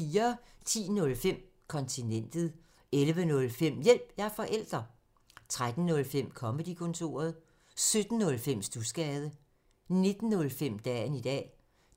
10:05: Kontinentet 11:05: Hjælp – jeg er forælder! 13:05: Comedy-kontoret 17:05: Studsgade 19:05: Dagen i dag